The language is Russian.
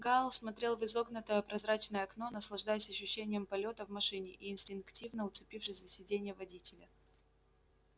гаал смотрел в изогнутое прозрачное окно наслаждаясь ощущением полёта в машине и инстинктивно уцепившись за сидение водителя